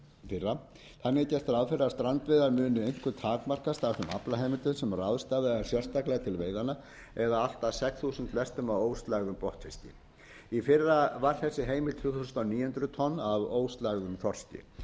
fyrra þannig er gert ráð fyrir að strandveiðar muni einkum takmarkast af þeim aflaheimildum sem ráðstafað er sérstaklega til veiðanna eða allt að sex þúsund lestum af óslægðum botnfiski í fyrra var þessi heimild tvö þúsund níu hundruð tonn af óslægðum þorski